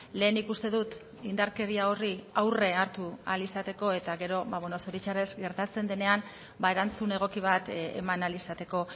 lehenik uste dut indarkeria horri aurre hartu ahal izateko eta gero ba beno zoritxarrez gertatzen denean ba erantzun egoki bat eman ahal izateko